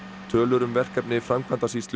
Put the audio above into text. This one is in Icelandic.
tölur um verkefni Framkvæmdasýslu